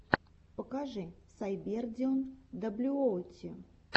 покажи сайбердимон даблюоути